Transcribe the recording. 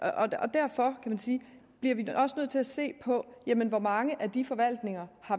derfor bliver vi også nødt til at se på hvor mange af de forvaltninger